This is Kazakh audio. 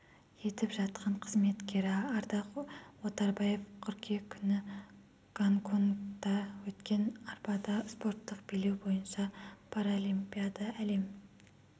етіп жатқан қызметкері ардақ оторбаев қыркүйек күні гонконгта өткен арбада спорттық билеу бойынша параолимпиада әлем